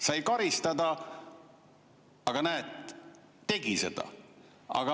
Sai karistada, aga näed, tegi seda.